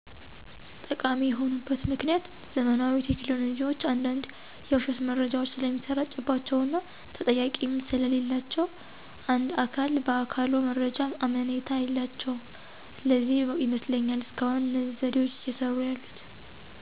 ጠቃሚ የሆኑበት ምክኒያት ዘመናዊ ቴክኖሎጂዎች አንዳንድ የዉሸት መረጃዎች ስለሚሰራጭባቸዉ እና ተጠያቂም ስለሌላቸዉ እንደ አካል በአካሎ መረጃዎች አመኔታ የላቸዉም ለዚህ ይመስለኛል እስካሁን እነዚህ ዘዴዎች እየሰሩ ያሉት።